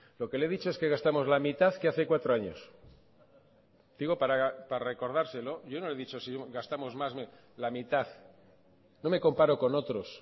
lo que le he dicho es que gastamos la mitad que hace cuatro años digo para recordárselo yo no le he dicho si gastamos más la mitad no me comparo con otros